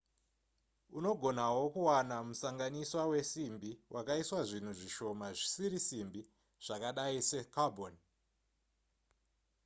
unogonawo kuwana musanganiswa wesimbi wakaiswa zvinhu zvishoma zvisiri simbi zvakadai secarbon